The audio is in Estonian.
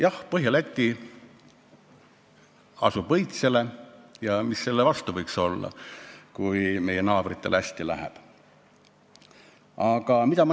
Jah, Põhja-Läti lööb õitsele ja mis võiks meil olla selle vastu, kui meie naabritel läheb hästi.